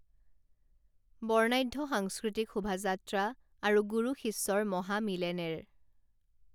বৰ্ণাঢ্য সাংস্কৃতিক শোভাযাত্ৰা আৰু গুৰু শিষ্যৰ মহামিলেনেৰ